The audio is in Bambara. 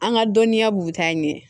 An ka dɔnniya b'u ta ɲɛ